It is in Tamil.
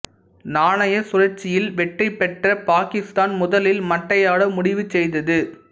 நாணயச்சுழற்சியில் வெற்றி பெற்ற பாகிஸ்தான் முதலில் மட்டையாட முடிவு செய்தது